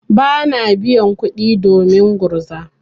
Bana biyan kuɗi domin gurza.